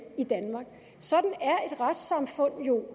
i danmark sådan er et retssamfund jo